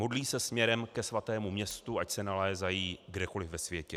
Modlí se směrem ke svatému městu, ať se nalézají kdekoli ve světě.